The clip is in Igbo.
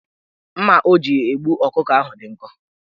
Mma o ji egbu ọkụkọ ahụ dị nkọ